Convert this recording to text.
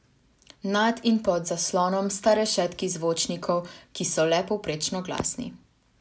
Nad in pod zaslonom sta rešetki zvočnikov, ki so le povprečno glasni.